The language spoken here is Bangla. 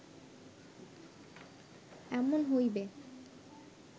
এমন হইবে